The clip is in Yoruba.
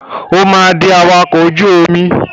O máa di awakọ̀ ojú omi.